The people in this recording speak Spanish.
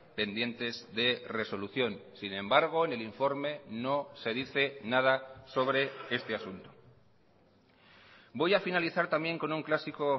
pendientes de resolución sin embargo en el informe no se dice nada sobre este asunto voy a finalizar también con un clásico